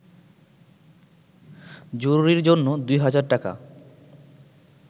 জরুরির জন্য দুই হাজার টাকা